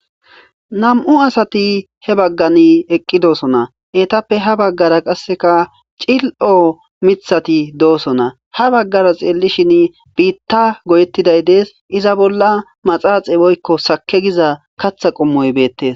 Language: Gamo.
nam7u asati he baggan eqqi doosona etappe ha baggara qasseka cil7o mithati doosona ha baggara xeellishin biitta goyeettiday dees iza bolla maxaaxe boykko sake giza katha qommoy beettes